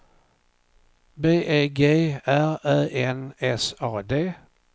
B E G R Ä N S A D